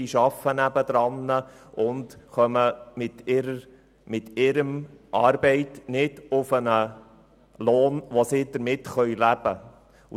Diese arbeiten und kommen nicht auf einen Lohn, mit dem sie leben können.